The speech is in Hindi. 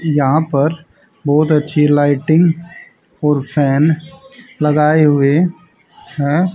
यहां पर बहोत अच्छी लाइटिंग और फैन लगाए हुए है।